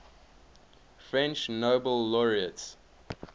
french nobel laureates